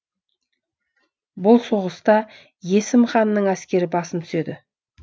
бұл соғыста есім ханның әскері басым түседі